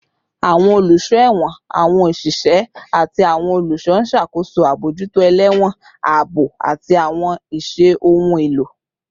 Awọn oluso ẹwọn, awọn oṣiṣẹ, ati awọn oluṣọ n ṣakoso abojuto elewon, aabo, ati awọn iṣẹ ohun elo